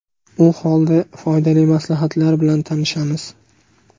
U holda, foydali maslahatlar bilan tanishamiz.